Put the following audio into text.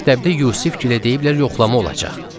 Məktəbdə Yusif gilə deyiblər yoxlama olacaq.